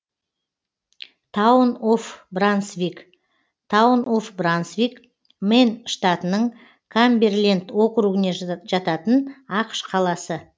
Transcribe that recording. таун оф брансвик таун оф брансвик мэн штатының камберленд округіне жататын ақш қаласы